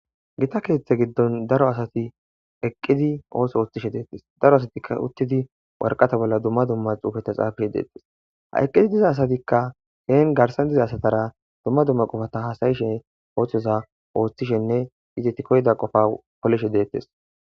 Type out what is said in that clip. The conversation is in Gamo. Gita keethe giddoni daro asati eqqidi ootho oothishe deetes daro asatika uttidi warqata bolla dumma dumma xuufeta xaafishe deetes ha eqqi diza asatika heen garssan diza asatara dumma dumma qofata hasa'ishe oothoza oothishenne izeti koyida qofa polishe deetes.